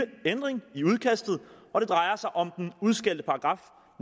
ændring i udkastet og det drejer sig om den udskældte paragraf